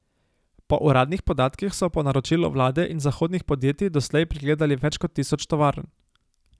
Po uradnih podatkih so po naročilu vlade in zahodnih podjetij doslej pregledali več kot tisoč tovarn.